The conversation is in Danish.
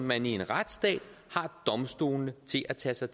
man i en retsstat har domstolene til at tage sig